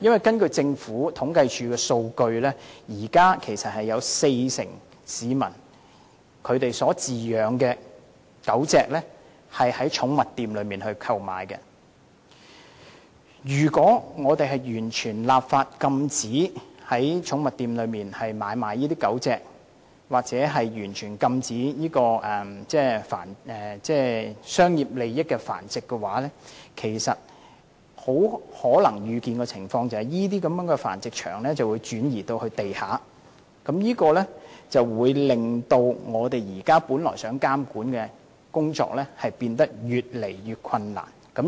根據政府統計處的數據，現時有四成市民飼養的狗隻是從寵物店購買，如果我們完全立法禁止在寵物店買賣狗隻或完全禁止涉及商業利益的繁殖，很可能預見的情況是，這些繁殖場便會轉移至地下經營，令現時本來想進行的監管工作變得越來越困難。